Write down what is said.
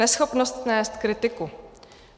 Neschopnost snést kritiku.